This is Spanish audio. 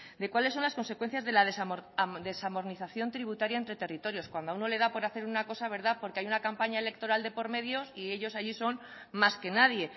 de cuáles son las consecuencias de la desarmonización tributaria entre territorios cuando a uno le da por hacer una cosa verdad porque hay una campaña electoral de por medio y ellos allí son más que nadie